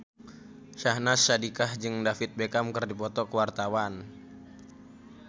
Syahnaz Sadiqah jeung David Beckham keur dipoto ku wartawan